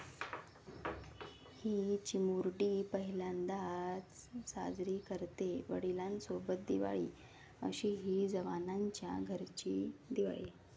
...'ही' चिमुरडी पहिल्यांदाच साजरी करतेय वडिलांसोबत दिवाळी, अशीही जवानांच्या घरची दिवाळी